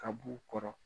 Ka b'u kɔrɔ